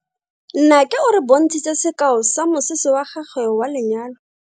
Nnake o re bontshitse sekao sa mosese wa gagwe wa lenyalo.